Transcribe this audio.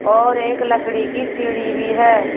और एक लकड़ी की सीढ़ी भी है।